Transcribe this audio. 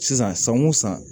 Sisan san wo san